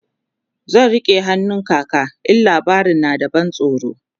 zan rike hannun kaka in labarin na da ban tsoro